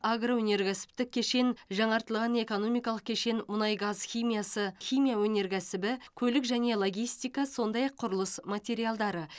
агро өнеркәсіптік кешен жаңартылған экономикалық кешен мұнайгаз химиясы химия өнеркәсібі көлік және логистика сондай ақ құрылыс материалдары